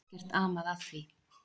Ekkert amað að því.